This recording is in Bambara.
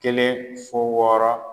Kelen fo wɔɔrɔ.